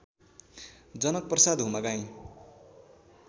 Janak Prasad Humagain